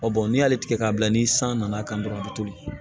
n'i y'a tigɛ k'a bila ni san nana kan dɔrɔn a bɛ toli